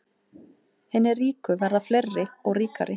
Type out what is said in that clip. Hinir ríku verða fleiri og ríkari